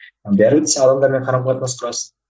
бәрібір де сен адамдармен қарым қатынас құрасың